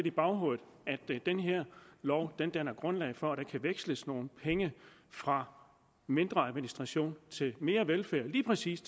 i baghovedet at den her lov danner grundlag for at der kan veksles nogle penge fra mindre administration til mere velfærd til lige præcis